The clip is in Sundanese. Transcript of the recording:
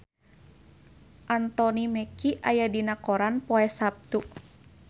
Anthony Mackie aya dina koran poe Saptu